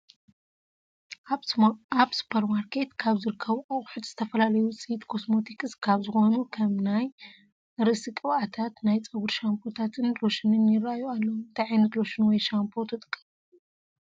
ኣብ ሱፑርማርኬት ካብ ዝርከቡ ኣቑሑት ዝተፈላለዩ ውፅእት ኮስማቲክስ ካብ ዝኾኑ ከም ናይ ርእሲ ቅብኣታት፣ ናይ ፀጉሪ ሻምቦታትን ሎሽንን ይራኣዩ ኣለው፡፡ እንታይ ዓይነት ሎሽን ወይ ሻምፖ ትጥቀሙ?